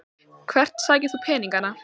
Hvert sækir þú peningana?